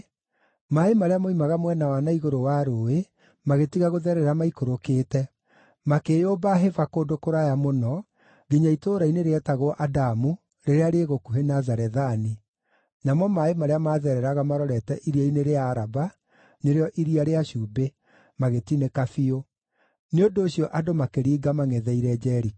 maaĩ marĩa moimaga mwena wa na igũrũ wa rũũĩ magĩtiga gũtherera maikũrũkĩte; makĩĩyũmba hĩba kũndũ kũraya mũno nginya itũũra-inĩ rĩetagwo Adamu rĩrĩa rĩ gũkuhĩ na Zarethani, namo maaĩ marĩa maathereraga marorete Iria-inĩ rĩa Araba (nĩrĩo Iria rĩa Cumbĩ) magĩtinĩka biũ. Nĩ ũndũ ũcio andũ makĩringa mangʼetheire Jeriko.